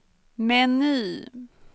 meny